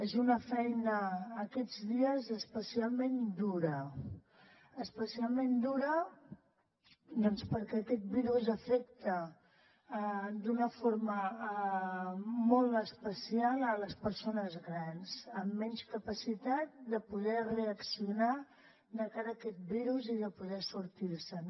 és una feina aquests dies especialment dura especialment dura doncs perquè aquest virus afecta d’una forma molt especial les persones grans amb menys capacitat de poder reaccionar de cara a aquest virus i de poder sortir se’n